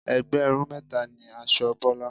Ẹgbẹ̀rún mẹ́ta ni aṣọ Bọ́lá.